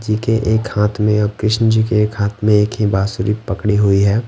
जी के एक हाथ में अ कृष्ण जी के एक हाथ में एक ही बांसुरी पकड़ी हुई है।